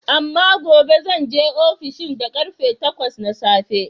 Amma gobe zan je ofis din da ƙarfe takwas na safe.